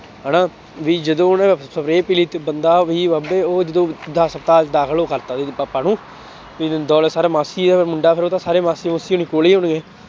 ਹਨਾ ਵੀ ਜਦੋਂ ਉਹਨੇ spray ਪੀ ਲਈ ਤੇ ਬੰਦਾ ਵੀ ਉਹਦੇ ਉਹ ਜਦੋਂ ਹਸਪਤਾਲ ਦਾਖਲ ਉਹ ਕਰ ਦਿੱਤਾ ਪਾਪਾ ਨੂੰ ਤੇ ਦੌਲਤ ਸਰ ਮਾਸੀ ਦਾ ਮੁੰਡਾ ਫਿਰ ਉਹਦਾ ਸਾਰੇ ਮਾਸੀ ਮੂਸੀ ਹੋਣੇ ਕੋਲ ਹੀ ਹੋਣਗੇ